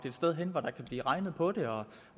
et sted hvor der kan blive regnet på det og